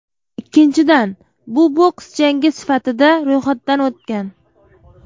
Ikkinchidan, bu boks jangi sifatida ro‘yxatdan o‘tgan.